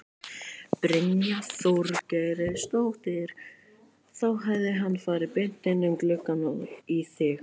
Brynja Þorgeirsdóttir: Þá hefði hann farið beint inn um gluggann og í þig?